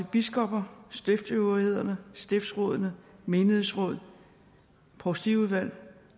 biskopperne stiftsøvrighederne stiftsrådene menighedsrådene provstiudvalgene